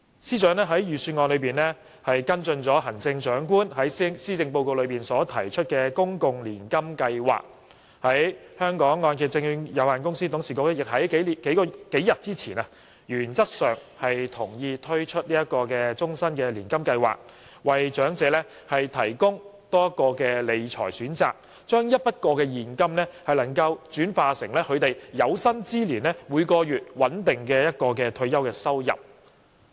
司長在預算案中跟進了行政長官在施政報告提出的公共年金計劃，而香港按揭證券有限公司董事局亦在數天前原則上同意推出終身年金計劃，為長者提供多一項理財選擇，將一筆過現金轉化為有生之年每月穩定的退休收入。